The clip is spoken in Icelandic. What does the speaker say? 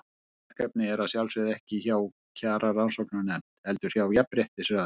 Þetta verkefni er að sjálfsögðu ekki hjá Kjararannsóknarnefnd, heldur hjá Jafnréttisráði.